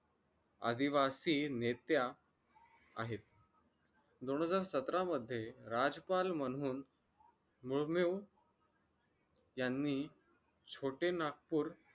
आदिवासी नेत्या आहेत दोन हजार सतरा मध्ये राजपाल म्हणून मुर्मू यांनी छोटे नागपूर